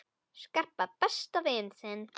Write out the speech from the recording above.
Skarpa, besta vin þinn!